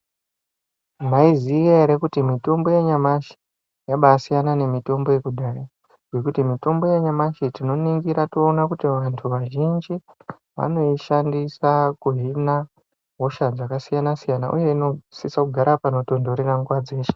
Mwaiziya here kuti mitombo yanyamashi yabasiyana nemitombo yekudhaya ngekuti mitombo yanyamashi tinoningira toona kuti vantu vazhinji vanoishandisa kuhina hosha dzakasiyana siyana uye inosise kugara panotontorera nguwa dzeshe